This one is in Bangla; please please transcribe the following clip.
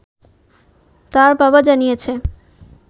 তার বাবা জানিয়েছে